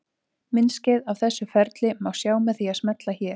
Myndskeið af þessu ferli má sjá með því að smella hér.